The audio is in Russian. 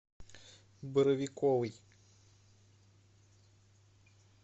боровиковой